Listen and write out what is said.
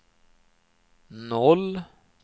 noll